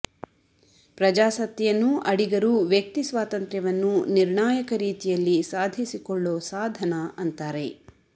ಪ್ರಜಾಸತ್ತೆಯನ್ನು ಅಡಿಗರು ವ್ಯಕ್ತಿ ಸ್ವಾತಂತ್ರ್ಯವನ್ನ ನಿರ್ಣಾಯಕ ರೀತಿಯಲ್ಲಿ ಸಾಧಿಸಿಕೊಳ್ಳೋ ಸಾಧನಾ ಅಂತಾರೆ